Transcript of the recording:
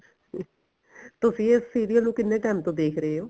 ਤੁਸੀਂ ਇਸ serial ਨੂੰ ਕਿੰਨੇ time ਤੋਂ ਦੇਖ ਰਹੇ ਓ